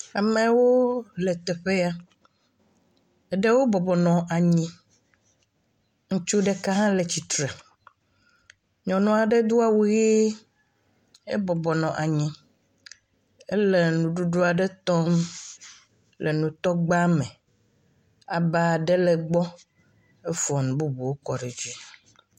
Amewo le teƒe ya. Eɖewo bɔbɔ nɔ anyi. Ŋutsu ɖeka le tsitre. Nyɔnua ɖe do awu ɣi. Ebɔbɔ nɔ anyi. Ele nuɖuɖu aɖe tɔm le nutɔgba me. Aba aɖe le egbɔ. Efɔ nu bubuwo kɔ ɖe edzi.